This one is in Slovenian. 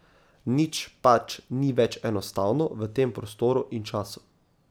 Nič pač ni več enostavno v tem prostoru in času.